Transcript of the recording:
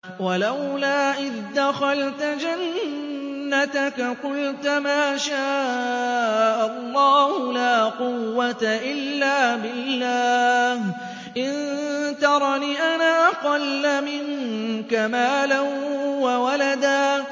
وَلَوْلَا إِذْ دَخَلْتَ جَنَّتَكَ قُلْتَ مَا شَاءَ اللَّهُ لَا قُوَّةَ إِلَّا بِاللَّهِ ۚ إِن تَرَنِ أَنَا أَقَلَّ مِنكَ مَالًا وَوَلَدًا